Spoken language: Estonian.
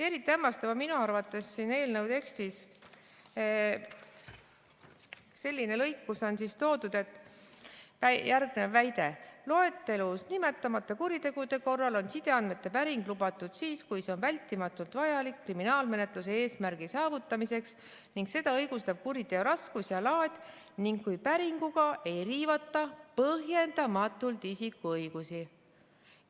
Eriti hämmastav on minu arvates eelnõu tekstis selline lõik, kus on toodud järgnev väide: "Loetelus nimetamata kuritegude korral on sideandmete päring lubatud siis, kui see on vältimatult vajalik kriminaalmenetluse eesmärgi saavutamiseks ning seda õigustab kuriteo raskus ja laad ning kui päringuga ei riivata põhjendamatult isiku õigusi.